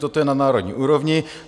Toto je na národní úrovni.